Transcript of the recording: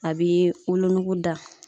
A bi wolonugu da